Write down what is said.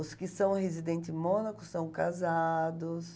Os que são residente em Mônaco são casados...